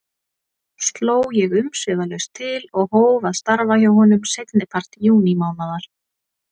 Sló ég umsvifalaust til og hóf að starfa hjá honum seinnipart júnímánaðar.